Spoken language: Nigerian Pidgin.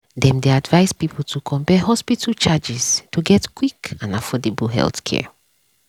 dem dey advise people to compare hospital charges to get quick and affordable healthcare.